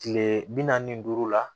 Kile bi naani ni duuru la